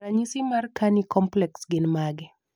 ranyisi mar Carney complex gin mage?